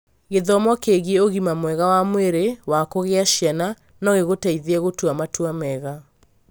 Gĩthomo kĩgiĩ ũgima mwega wa mwĩrĩ wa kũgĩa ciana no gĩgũteithie gũtua matua mega.